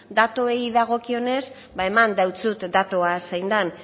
datuei dagokienez eman deutsut datua zein den